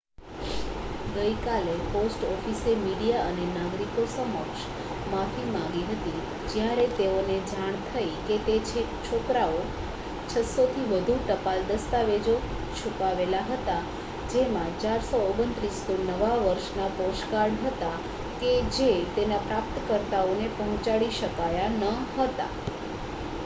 ગઈકાલે પોસ્ટ ઓફિસે મીડિયા અને નાગરિકો સમક્ષ માફી માંગી હતી જ્યારે તેઓને જાણ થઈ કે તે છોકરાએ 600 થી વધુ ટપાલ દસ્તાવેજો છુપાવેલા હતા જેમાં 429 તો નવા વર્ષના પોસ્ટકાર્ડ હતા કે જે તેના પ્રાપ્તકર્તાઓને પહોંચાડી શકાયા ન હતા